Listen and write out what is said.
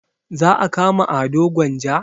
Za a kama ado gwanja?